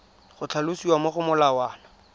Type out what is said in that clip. go tlhalosiwa mo go molawana